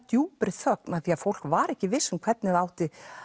djúpri þögn af því að fólk var ekki víst um hvernig það ætti